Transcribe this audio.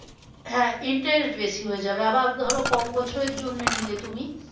হ্যাঁ interest বেশি হয়ে যাবে আবার ধরো কম বছরের জন্যে নিলে তুমি